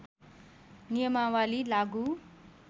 नियमावली लागू